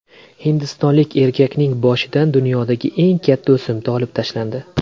Hindistonlik erkakning boshidan dunyodagi eng katta o‘simta olib tashlandi.